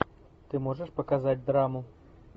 ты можешь показать драму